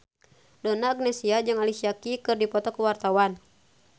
Donna Agnesia jeung Alicia Keys keur dipoto ku wartawan